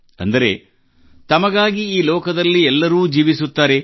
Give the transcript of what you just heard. ಅಂದರೆ ತಮಗಾಗಿ ಈ ಲೋಕದಲ್ಲಿ ಎಲ್ಲರೂ ಜೀವಿಸುತ್ತಾರೆ